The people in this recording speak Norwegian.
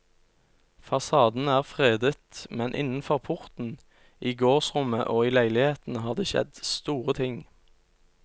Fasaden er fredet, men innenfor porten, i gårdsrommet og i leilighetene, har det skjedd store ting.